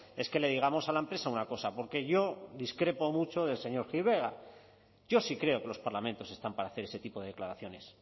es que le digamos a la empresa una cosa porque yo discrepo mucho del señor gil vegas yo sí creo que los parlamentos están para hacer ese tipo de declaraciones